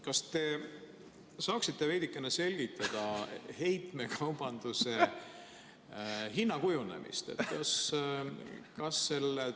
Kas te saaksite veidikene selgitada heitmekaubanduse hinna kujunemist?